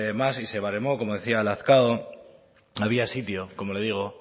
más y se baremó como decía a lazkao había sitio como le digo